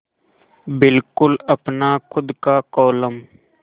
बिल्कुल अपना खु़द का कोलम